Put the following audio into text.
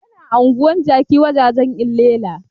Yana anguwar jaki wajajan llela